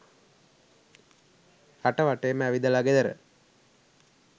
රට වටේම ඇවිදල ගෙදර